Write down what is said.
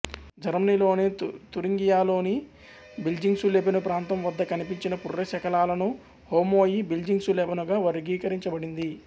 జర్మనీలోని తురింగియాలోని బిల్జింగ్సులెబెను ప్రాంతం వద్ద కనిపించిన పుర్రె శకలాలను హోమో ఇ బిల్జింగ్సులెబెను గా వర్గీకరించబడింది